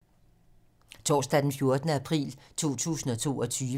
Torsdag d. 14. april 2022